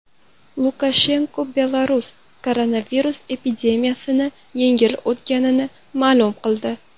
Lukashenko Belarus koronavirus epidemiyasini yengib o‘tganini ma’lum qildi.